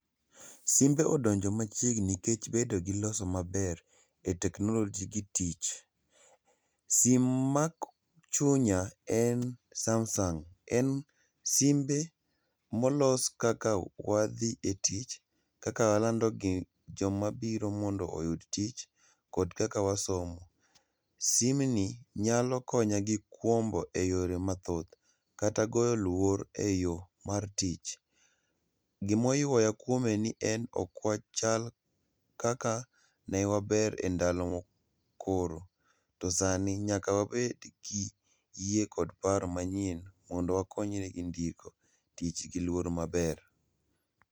SImbe odonjo machiegni nikech bedo gi loso maber e teknoloji gi tich. Sim en Samsung, en simbe molos kaka e tich kaka walandogi joma biro mondo oyud tich, kod kaka wasomo. Simni nyalo konya gi kwombo e yore mathoth, kata goyo luor e yoo mar tich. Gimo ywaya kwome ni ne okwachal kaka newaber e ndalo mokoro. To sani, nyaka wabed gi yie kod paro mondo wakonyre gi ndiko tich giluor maber.